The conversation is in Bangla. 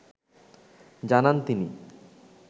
জানান তিনি।